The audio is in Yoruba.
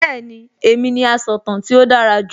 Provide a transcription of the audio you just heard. Bẹ́ẹ̀ni, èmi ni asọ̀tàn tí ó dára jù